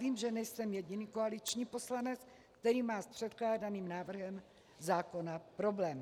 Vím, že nejsem jediný koaliční poslanec, který má s předkládaným návrhem zákona problém.